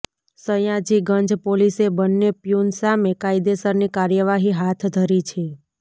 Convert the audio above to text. સયાજીગંજ પોલીસે બન્ને પ્યુન સામે કાયદેસરની કાર્યવાહી હાથ ધરી છે